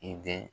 I den